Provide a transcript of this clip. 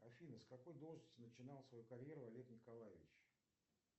афина с какой должности начинал свою карьеру олег николаевич